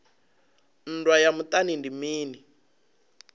nndwa ya muṱani ndi mini